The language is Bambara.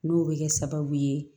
N'o bɛ kɛ sababu ye